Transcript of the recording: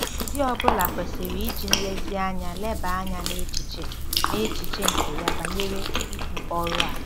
Di ọ bụla kwesịrị iji nlezianya leba anya n'echiche n'echiche nke ya banyere ibu ọrụ a.